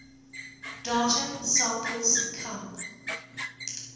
data samples come